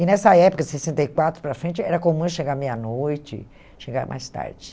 E, nessa época, de sessenta e quatro para frente, era comum eu chegar meia-noite, chegar mais tarde.